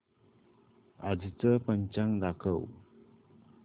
आजचं पंचांग दाखव